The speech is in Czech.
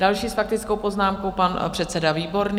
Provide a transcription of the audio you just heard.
Další s faktickou poznámkou - pan předseda Výborný.